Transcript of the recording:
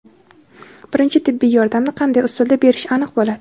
birinchi tibbiy yordamni qanday usulda berish aniq bo‘ladi.